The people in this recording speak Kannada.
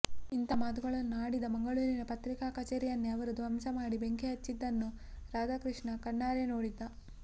ಇಂಥ ಮಾತುಗಳನ್ನು ಆಡಿದ ಮಂಗಳೂರಿನ ಪತ್ರಿಕಾ ಕಛೇರಿಯನ್ನೇ ಅವರು ಧ್ವಂಸ ಮಾಡಿ ಬೆಂಕಿ ಹಚ್ಚಿದ್ದನ್ನು ರಾಧಾಕೃಷ್ಣ ಕಣ್ಣಾರೆ ನೋಡಿದ್ದ